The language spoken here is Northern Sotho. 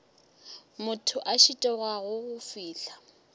motho a šitwago go fihla